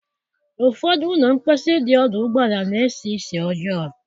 Ụfọdụ ụlọ mposi dị ọdụ ụgbọala na-esi ísì ọjọọ.